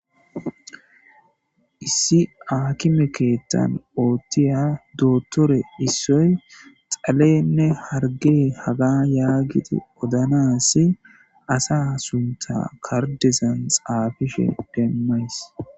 Hssi akimekeettan oottiya doottore issoy xalenne harge haga yaagiti odanasi asa sunta kardizan xaabishe demmays